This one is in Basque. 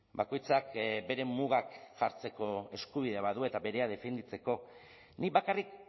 bakoitzak bere mugak jartzeko eskubidea badu eta berea defenditzeko nik bakarrik